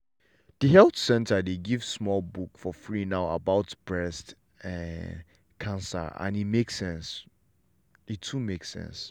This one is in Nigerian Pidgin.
the health center dey give small book for free now about breast um cancer and e too make sense.